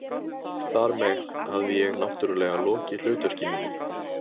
Þar með hafði ég- náttúrlega- lokið hlutverki mínu.